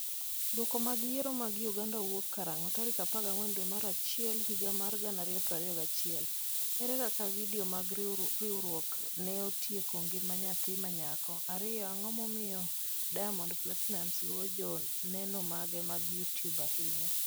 Duoko mag Yiero mag Uganda wuok karang'o? tarik 14 dwe mar achiel higa mar 2021 1 Ere kaka vidio mag riwruok ne otieko ngima nyathi ma nyako 2 Ang'o momiyo Diamond Platinumz luwo joneno mage mag YouTube ahinya?